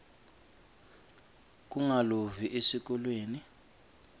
kungalovi esikolweni